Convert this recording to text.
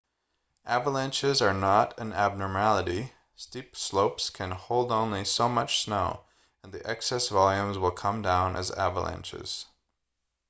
avalanches are not an abnormality steep slopes can hold only so much slow and the excess volumes will come down as avalanches